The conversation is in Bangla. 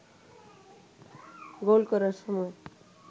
গোল করার সময়